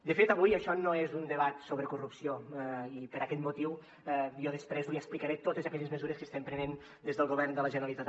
de fet avui això no és un debat sobre corrupció i per aquest motiu jo després li explicaré totes aquelles mesures que estem prenent des del govern de la generalitat